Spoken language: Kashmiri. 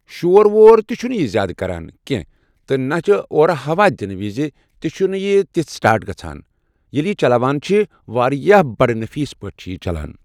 شور وور تہِ چھنہٕ یہِ زیٛادٕ کران کٮ۪نٛہہ تہ نہ اور ہوا دِنہٕ وِزِ تہِ چھ نہٕ یہِ تِژہ سٹارٹ کران۔ ییٚلہِ یہِ چلاوان چھِ واریاہ بَڑٕ نٔفیٖض پٲٹھۍ چھ یہِ چلان